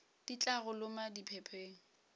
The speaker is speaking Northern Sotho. di tla go loma diphepheng